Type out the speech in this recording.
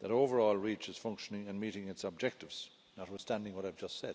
that, overall, Reach is functioning and meeting its objectives, notwithstanding what I have just said.